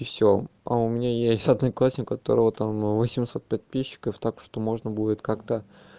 всё а у меня есть одноклассник которого там восемьсот подписчиков так что можно будет как-то